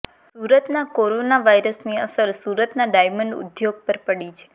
સુરતના કોરોના વાયરસની અસર સુરતના ડાયમંડ ઉદ્યોગ પર પડી છે